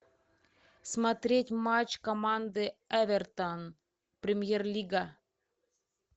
смотреть матч команды эвертон премьер лига